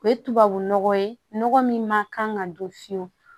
O ye tubabu nɔgɔ ye nɔgɔ min ma kan ka don fiyewu